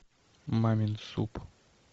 мамин суп